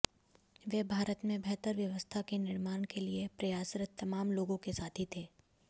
वे भारत में बेहतर व्यवस्था के निर्माण के लिए प्रयासरत तमाम लोगों के साथी थे